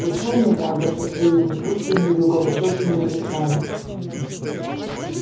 пришёл ноябрь со своими жгучими юго-восточными ветрами